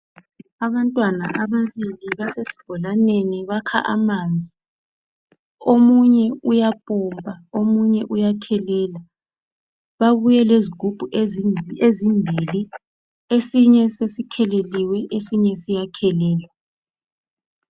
Abantwana ababili basesibholaneni bakha amanzi. Omunye uyapompa, omunye uyakhelela, babuye lezigubhu ezimbili. Esinye sesikheleliwe esinye siyakhelelwa.